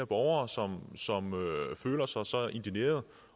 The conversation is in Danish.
borgere som føler sig så indignerede